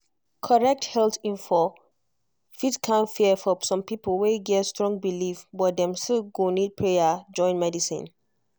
correct health info fit calm fear for some people wey get strong belief but dem still go need prayer join medicine.